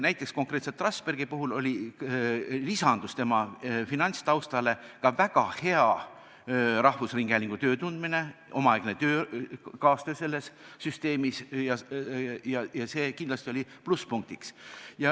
Näiteks konkreetselt Trasbergi puhul lisandus tema finantstaustale ka väga hea rahvusringhäälingu töö tundmine, omaaegne kaastöö selles süsteemis – see andis kindlasti plusspunkti.